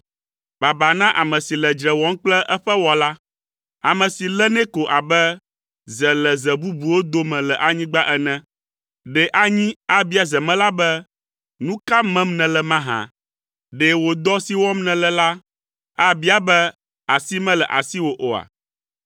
“Baba na ame si le dzre wɔm kple eƒe Wɔla. Ame si lé nɛ ko abe ze le ze bubuwo dome le anyigba ene. Ɖe anyi abia zemela be, ‘Nu ka mem nèle mahã?’ Ɖe wò dɔ si wɔm nèle la, abia be, ‘Asi mele asiwò oa?’